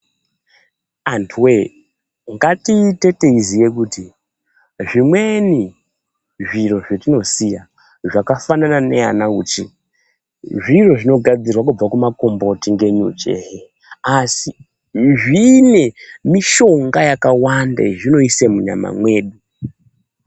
Antuwe ngatiite teiziye kuti zvimweni zviro zvetinosisa zvakafanana nana uchi zviro zvinogadzirwa kubva kumakomboti ngenyuchi ehe asi zvine mishonga yakawanda yezvinoise munyama mwedu.